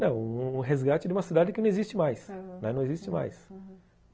Não, o o resgate de uma cidade que não existe mais, aham, não existe mais, aham.